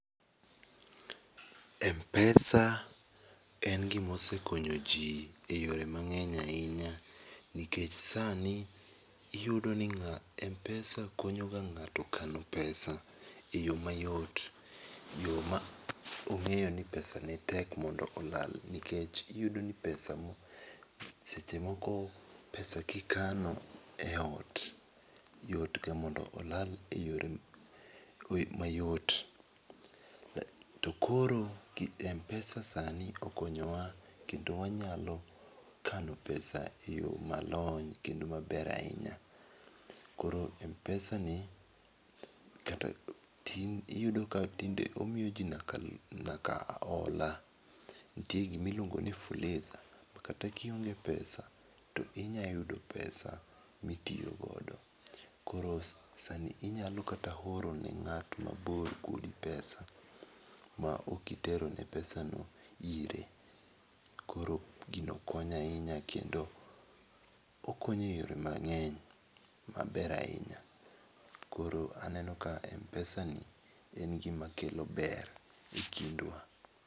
Mpesa en gi ma osekonyo ji e yore mang'eny ahinya nikech sani iyudo ka mpesa konyo ega ng'ato kano pesa e yo mayot yo ma ing'eyo ni tek mondo pesa olal nikech iyudo ni pesa no seche moko pesa ki ikano e ot yot ga mondo olal e yore mayot to koro mpesa sani okonyo wa kendo wanyalo kano pesa e yo ma lony kendo ma ber ahinya .Koro mpesa ni kata tinde iyudo ka bende omiyo ji nyaka nyaka ola nitie gi ma iluongo ni fuliza kata ki ionge pesa to inya yudo pesa mi itiyo godo. Koro sani inyalo kata oro ne ng'ato ma bor pesa ma ok itero ne pesa no ire. Koro gino okonyo ahinya kendo okonyo e yore mang'eny maber ahinya, koro aneno ka mpesa ni en gi ma kelo ber e kindwa.